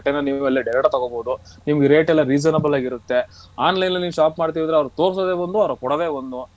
ನೀವೆಲ್ಲ direct ಆಗ್ ತಗೊಬೋದು ನಿಮ್ಗೆ rate ಎಲ್ಲ reasonable ಅಗಿರುತ್ತೆ online ಅಲ್ಲಿ ನೀವು shop ಮಾಡ್ತಿದ್ರೆ ಅವ್ರು ತೋರ್ಸೋದೆ ಒಂದು ಅವ್ರು ಕೊಡೋದೆ ಒಂದು.